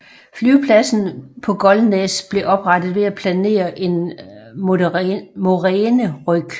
Flyvepladsen på Golnes blev oprettet ved at planere en moræneryg